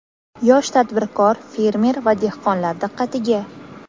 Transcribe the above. Yosh tadbirkor, fermer va dehqonlar diqqatiga!.